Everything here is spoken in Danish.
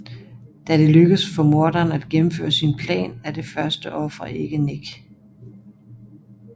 Da det lykkes for morderen at gennemføre sin plan er det første offer ikke Nick